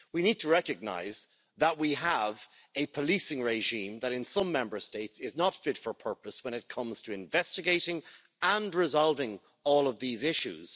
We need to recognise that we have a policing regime which, in some Member States, is not fit for purpose when it comes to investigating and resolving all these issues.